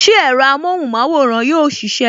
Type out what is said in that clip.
Ṣé ẹ̀rọ amóhùn maworan yóò sisẹ?